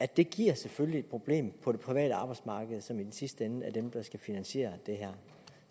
det giver selvfølgelig et problem på det private arbejdsmarked som i sidste ende er dem der skal finansiere det her